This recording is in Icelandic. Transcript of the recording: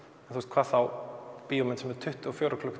hvað þá bíómynd sem er tuttugu og fjórir